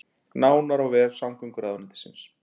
Nánar á vef samgönguráðuneytisins